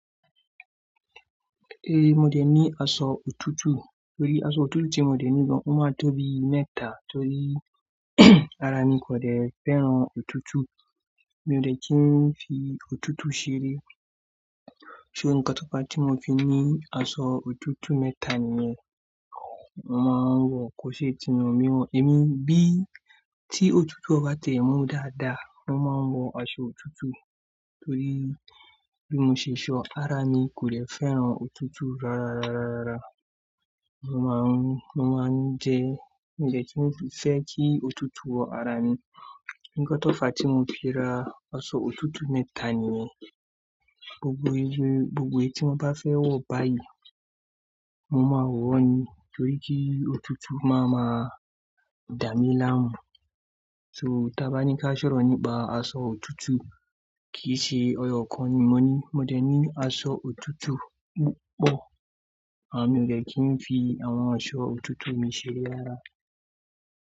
Eh, mo dé ní aṣọ òtútù torí aṣọ òtútù tí mo dé ní gan mo máa tóbi mẹ́ta torí ara mi kò dẹ fẹ́ràn òtútù. Mi ò dẹ kí n fi òtútù ṣeré. So ǹkan tó fa tí mo fi ní aṣọ òtútù mẹ́ta nìyẹn, mo máa ń wọ̀ kó ṣe ti nà mí wọ̀n. Èmi bí tí òtútù bá tiẹ̀ mú dáadáa, mo máa ń wọ aṣọ òtútù torí bí mo ṣe ṣọ ara mi kò dẹ fẹ́ràn òtútù rárárárárárá. Mo máa ń, mo máa ń jẹ, n dẹ kí n fi fẹ́ kí òtútù wọ ara mi. Ǹkan tó fa tí mo fi ra aṣọ òtútù mẹ́ta nìyẹn. Gbogbo irú, gbogbo èyí tí mo bá fẹ́ wọ̀ báyìí, mo máa wọ̀ ni torí kí òtútù máa ma dà mí láàmú. So tí a bá ní ká ṣọ̀rọ̀ nípa aṣọ òtútù kìí ṣe eyọ̀ kan ni mo ní. Mo dé ní aṣọ òtútù púpọ̀, àra mio dẹ̀ kí n fi àwọn aṣọ òtútù mi ṣeré yára.